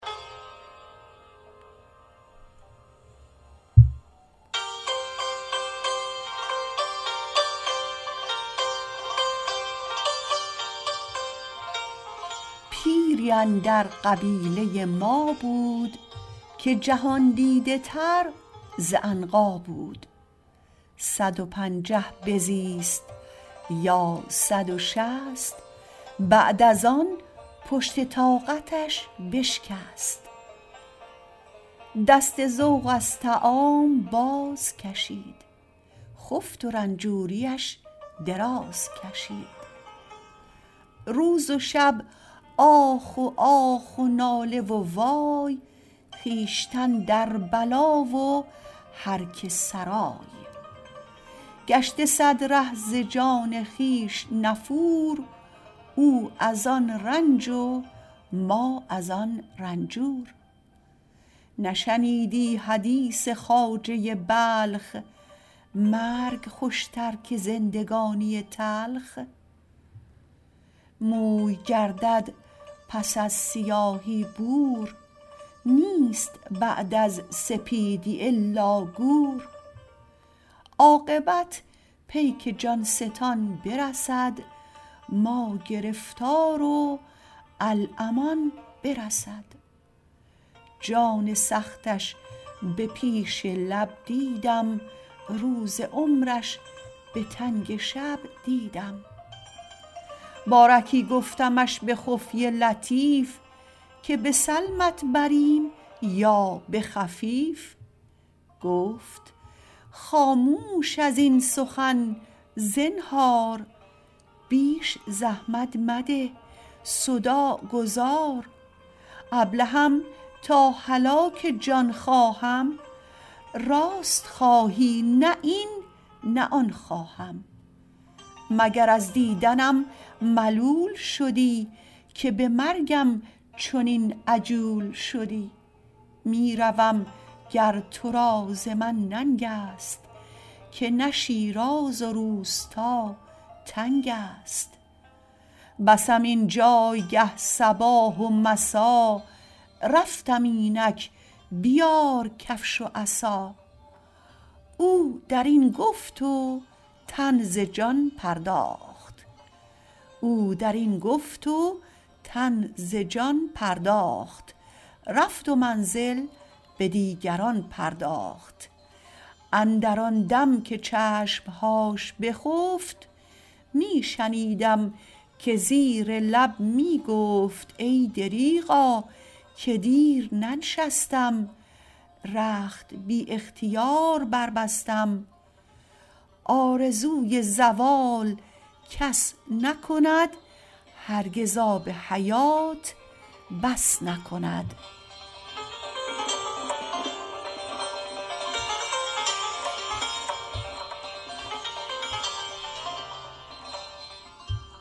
پیری اندر قبیله ما بود که جهاندیده تر ز عنقا بود صد و پنجه بزیست یا صد و شصت بعد از آن پشت طاقتش بشکست دست ذوق از طعام باز کشید خفت و رنجوریش دراز کشید روز و شب آخ و آخ و ناله و وای خویشتن در بلا و هر که سرای گشته صد ره ز جان خویش نفور او از آن رنج و ما از آن رنجور نشنیدی حدیث خواجه بلخ مرگ خوشتر که زندگانی تلخ موی گردد پس از سیاهی بور نیست بعد از سپیدی الا گور عاقبت پیک جان ستان برسد ما گرفتار و الامان برسد جان سختش به پیش لب دیدم روز عمر ش به تنگ شب دیدم بارکی گفتمش به خفیه لطیف که به سلمت بریم یا به حفیف گفت خاموش ازین سخن زنهار بیش زحمت مده صداع گذار ابلهم تا هلاک جان خواهم راست خواهی نه این نه آن خواهم مگر از دیدنم ملول شدی که به مرگم چنین عجول شدی می روم گر تو را ز من ننگ است که نه شیراز و روستا تنگ است بسم این جایگه صباح و مسا رفتم اینک بیار کفش و عصا او در این گفت و تن ز جان پرداخت رفت و منزل به دیگران پرداخت اندر آن دم که چشمهاش بخفت می شنیدم که زیر لب می گفت ای دریغا که دیر ننشستم رخت بی اختیار بربستم آرزوی زوال کس نکند هرگز آب حیات بس نکند